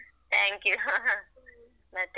Thank you ಮತ್ತೆ?